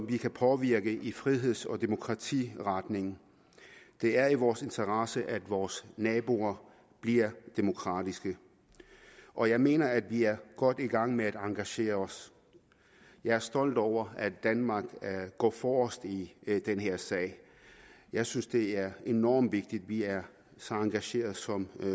vi kan påvirke i friheds og demokratiretning det er i vores interesse at vores naboer bliver demokratiske og jeg mener at vi er godt i gang med at engagere os jeg er stolt over at danmark går forrest i den her sag jeg synes det er enormt vigtigt at vi er så engagerede som